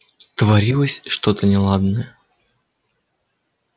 творилось что-то неладное